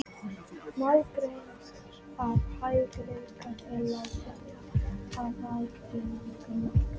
Málgreind er hæfileikinn til að vinna með tungumál.